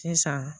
Sisan